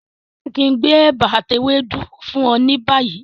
Ṣe kí n gbé ẹ̀bà ati ewédú fún ọ ni bayi?